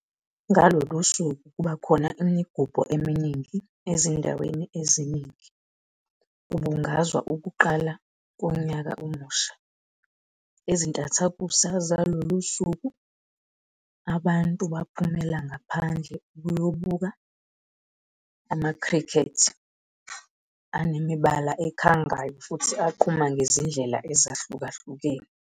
Ngalolu suku kuba khona imigubho eminingi ezindaweni eziningi, kubungazwa ukuqala konyaka omusha. Ezintathakusa zalulu suku, abantu baphumela ngapahandle ukuyobuka "amakhrikhethi" anemibala ekhangayo futhi aqhuma ngezindlela ezahlukahlene.